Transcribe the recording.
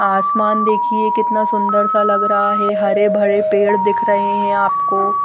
आसमान देखिए कितना सुंदरसा लग रहा हैं हरे भरे पेड़ दिख रहे हैं आपको।